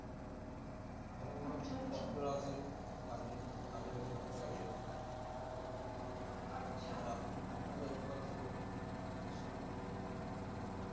ভাল ভাল ডাক্তার আছে ক্যারিডিওলজি ডাক্তার আছে তআর আপনি আপনাদের ওখান এর ব্যাবস্থা কি রকম চিকিৎসার